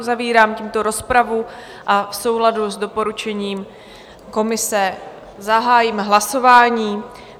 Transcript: Uzavírám tímto rozpravu a v souladu s doporučením komise zahájím hlasování.